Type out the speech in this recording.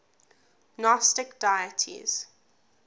gnostic deities